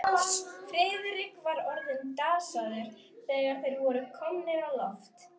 Friðrik var orðinn dasaður, þegar þeir voru komnir á loft.